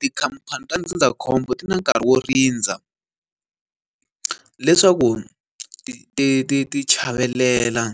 Tikhamphani ta ndzindzakhombo ti na nkarhi wo rindza, leswaku ti ti ti ti chavelela